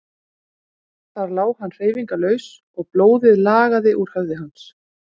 Þar lá hann hreyfingarlaus og blóðið lagaði úr höfði hans.